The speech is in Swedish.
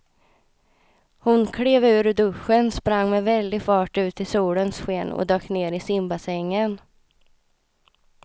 Hon klev ur duschen, sprang med väldig fart ut i solens sken och dök ner i simbassängen.